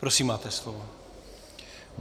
Prosím, máte slovo.